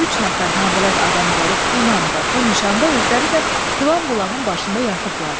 Üç nəfər nabələd adam gəlib bu namda, bu nişanda, özləri də filan bulağın başında yatıblar.